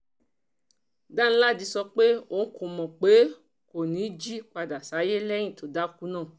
danladi sọ pé òun kò mọ̀ pé kò ní í jí padà sáyé lẹ́yìn tó dákú náà